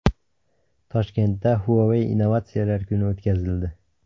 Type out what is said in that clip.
Toshkentda Huawei Innovatsiyalar kuni o‘tkazildi.